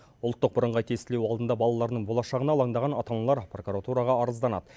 ұлттық бірыңғай тестілеу алдында балаларының болашағына алаңдаған ата аналар прокуратураға арызданады